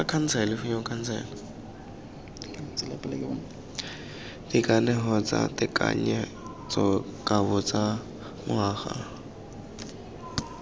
dikanego tsa tekanyetsokabo tsa ngwaga